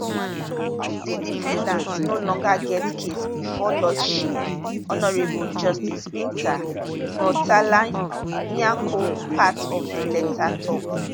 di defendat no longer get case bifor lordship honourable justice binta murtalanyako part of di letter tok